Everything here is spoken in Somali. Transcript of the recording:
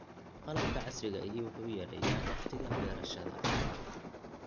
Qalabka casriga ahi wuxuu yareeyaa wakhtiga beerashada.